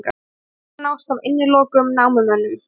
Myndir nást af innilokuðum námumönnum